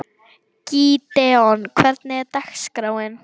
Gídeon, hvernig er dagskráin?